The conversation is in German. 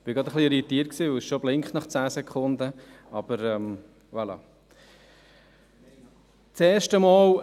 – Ich war gerade etwas irritiert, weil es nach zehn Sekunden schon blinkt.